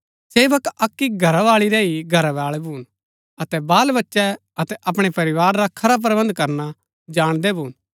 सेवक अक्की घरावाळी रै ही घरवाळै भून अतै बाल बच्चै अतै अपणै परिवार रा खरा प्रबन्ध करना जाणदै भून